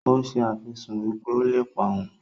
ó se àfisùn wípé ó ń lépa òun.